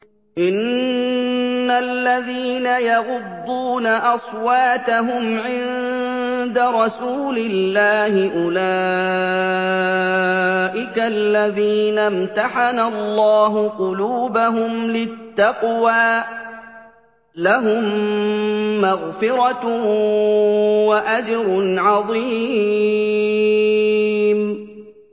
إِنَّ الَّذِينَ يَغُضُّونَ أَصْوَاتَهُمْ عِندَ رَسُولِ اللَّهِ أُولَٰئِكَ الَّذِينَ امْتَحَنَ اللَّهُ قُلُوبَهُمْ لِلتَّقْوَىٰ ۚ لَهُم مَّغْفِرَةٌ وَأَجْرٌ عَظِيمٌ